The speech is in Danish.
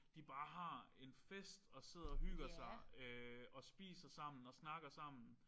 De bare har en fest og sidder og hygger sig og spiser sammen og snakker sammen